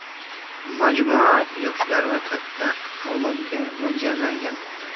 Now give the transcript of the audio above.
Majmua yoshlar va katta avlodga mo‘ljallangan.